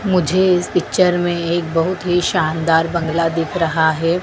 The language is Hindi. मुझे इस पिक्चर में एक बहुत ही शानदार बंगला दिख रहा है।